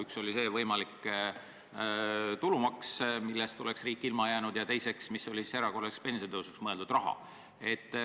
Üks oli see võimalik tulumaks, millest riik oleks ilma jäänud, ja teiseks oli erakorraliseks pensionitõusuks mõeldud raha.